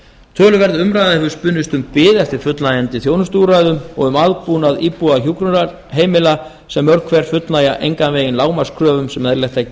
töluverð umræða hefur spunnist um bið eftir fullnægjandi þjónustuúrræðum og um aðbúnað íbúa hjúkrunarheimila sem mörg hver fullnægja engan veginn lágmarkskröfum sem eðlilegt er að